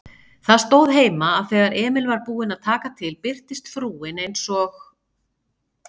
Það stóð heima, að þegar Emil var búinn að taka til birtist frúin eins og